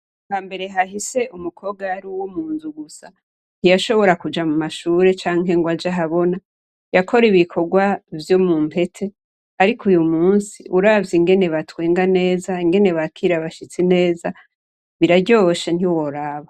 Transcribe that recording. Hambere hahise umukobwa yari uwomunzu gusa ntiyashobora kuja mumashure canke ngo ajahabona yakora ibikorwa vyomumpete ariko uyumusi uravye ingene batwenga neza ingene bakira abashitsi neza biraryoshe ntiworaba